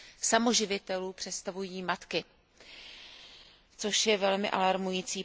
samoživitelů představují matky, což je velmi alarmující.